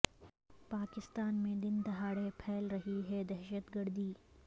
پاکستان میں دن دہاڑے پھیل رہی ہے دہشت گردی